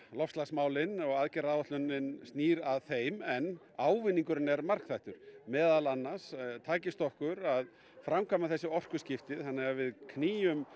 loftslagsmálin og aðgerðaráætlunin snýr að þeim en ávinningurinn er margþættur meðal annars takist okkur að framkvæma þessi orkuskipti þannig að við knýjum